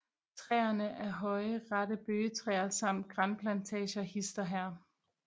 Træerne af høje rette bøgetræer samt granplantager hist og her